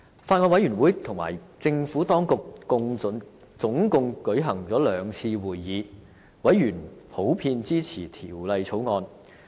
法案委員會與政府當局共舉行了兩次會議，委員普遍支持《條例草案》。